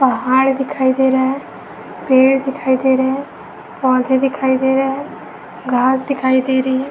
पहाड़ दिखाई दे रहा है पेड़ दिखाई दे रहा है पौधे दिखाई दे रहा है घांस दिखाई दे रही है।